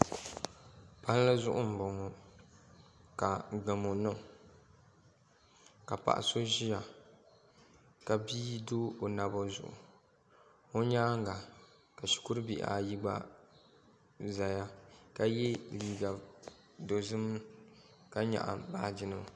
Palli zuɣu n boŋo ka gamo niŋ ka paɣa so ʒiya ka bia do o naba zuɣu o nyaanga ka shikuru bihi ayi gba ʒɛya ka yɛ liiga dozim ka nyaɣa baaji nima